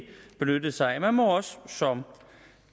benyttede sig af man må som